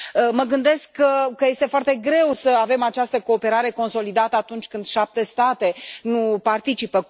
Mă gândesc că este foarte greu să avem această cooperare consolidată atunci când 7 state nu participă.